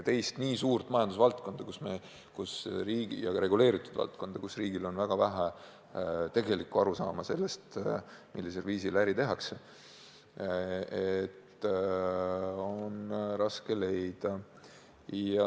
Teist nii suurt reguleeritud majandusvaldkonda, kus riigil on väga väike arusaam sellest, millisel viisil äri tehakse, on raske leida.